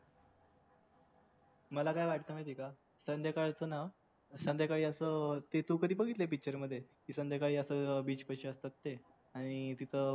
मला काय वाटतंय माहिती आहे का संध्याकाळच ना संध्याकाळी हे असं तू कधी बघितली picture मध्ये संध्याकाळी असं अं beach पाशी असतात तेय आणि तिथं